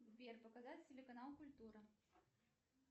сбер показать телеканал культура